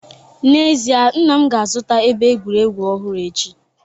N'ezie, nna m ga-azụta ebe egwuregwu ọhụrụ echi